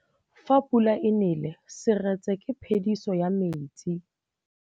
Fa pula e nelê serêtsê ke phêdisô ya metsi.